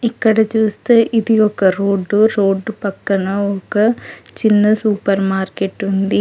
ఇక్కడ చూస్తే ఇది ఒక రోడ్డు రోడ్డు పక్కన ఒక చిన్న సూపర్ మార్కెట్ ఉంది.